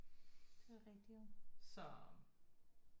Det er rigtigt jo